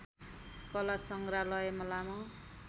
कला सङ्ग्रहालयमा लामो